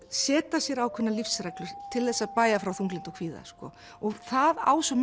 setja sér ákveðnar lífsreglur til að bægja frá þunglyndi og kvíða og það á svo